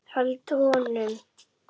Held honum.